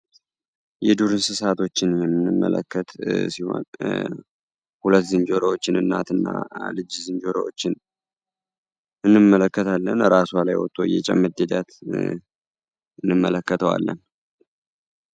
የዱር እንስሳቶችንመለከት ሁለት ዝንጀሮዎችን እናትና ልጅ ዝንጀሮችንን ብንመለከታለን ራስዋ እየጨመረ ሂደትንመለከተው አለ